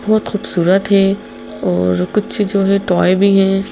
बहुत खूबसूरत है और कुछ जो है टॉय भी हैं।